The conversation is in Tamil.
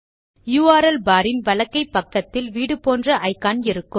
யுஆர்எல் பார் இன் வலக்கை பக்கத்தில் வீடு போன்ற இக்கான் இருக்கும்